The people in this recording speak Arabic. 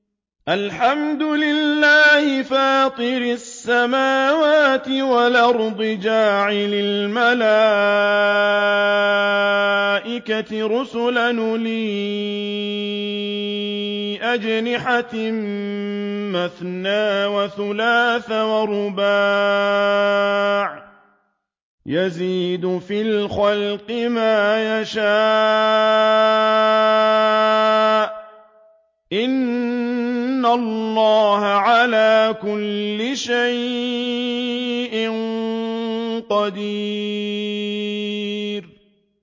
الْحَمْدُ لِلَّهِ فَاطِرِ السَّمَاوَاتِ وَالْأَرْضِ جَاعِلِ الْمَلَائِكَةِ رُسُلًا أُولِي أَجْنِحَةٍ مَّثْنَىٰ وَثُلَاثَ وَرُبَاعَ ۚ يَزِيدُ فِي الْخَلْقِ مَا يَشَاءُ ۚ إِنَّ اللَّهَ عَلَىٰ كُلِّ شَيْءٍ قَدِيرٌ